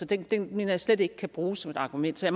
det det mener jeg slet ikke kan bruges som et argument så